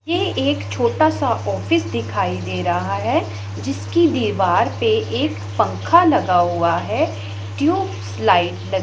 ये एक छोटा सा ऑफिस दिखाई दे रहा है जिसकी दीवार पे एक पंख लगा हुआ है ट्यूबलाइट --